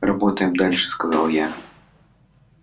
работаем дальше сказал я